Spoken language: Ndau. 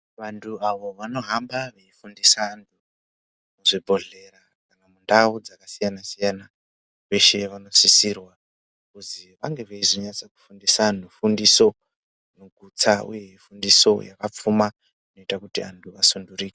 Vantu avo vanohamba vachifundisa vantu zvibhedhlera ndau dzakasiyana siyana veshe vanosisirwa kuzivange veyi zonyatso veufundisa vantu fundiso ineudzamo fundiso yakapfuma inoita kuti vantu vasununguruke.